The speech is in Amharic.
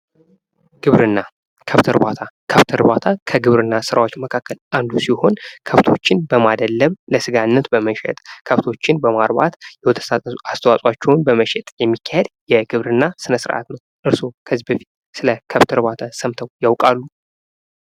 ግብርና ከብት እርባታ ከብት እርባታ ከግብርና ስራዎች አንደኛው ሲሆን ከብቶችን በማደለብ ለስጋነት በመሸጥ ከብቶችን በማርባት የወተት አስተዋጾአቸውን በመሸጥ የሚካሄድ የግብርና ስነ ስርዓት ነው። እርሱዎ ከዚህ በፊት ስለከብት እርባታ ሰምተው ያውቃሉ?